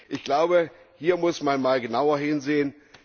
Ich glaube, hier muss man mal genauer hinsehen.